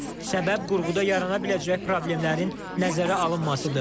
Səbəb qurğuda yarana biləcək problemlərin nəzərə alınmasıdır.